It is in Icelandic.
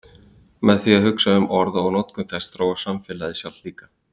Með því að hugsa um orð og notkun þess þróast samfélagið sjálft líka.